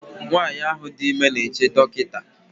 nwanyị ahụ dị ime na-eche dọkịta